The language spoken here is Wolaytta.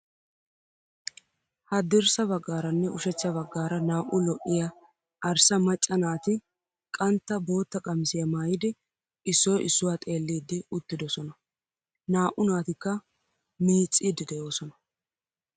Hadirssa baggaaranne ushachcha baggaara naa'u lo'iya , arssa macca naati qantta, bootta qamisiyaa maayidi, issoy issuwaa xeelliiddi uttidosona . Naa'u naatikka miicciiddi de"oosona.